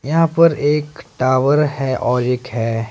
यहां पर एक टावर है और एक है।